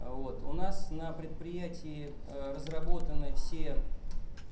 вот у нас на предприятии разработаны все